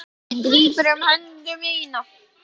Hún grípur um hönd mína.